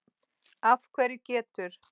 Af hverju getur